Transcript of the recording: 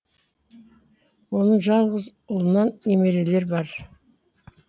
оның жалғыз ұлынан немерелері бар